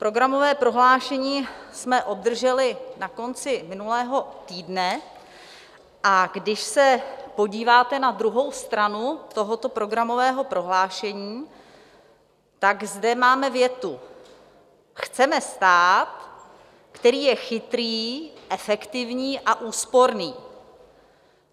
Programové prohlášení jsme obdrželi na konci minulého týdne, a když se podíváte na druhou stranu tohoto programového prohlášení, tak zde máme větu: Chceme stát, který je chytrý, efektivní a úsporný.